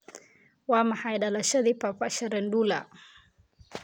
waa maxay dhalashadii papa shirandula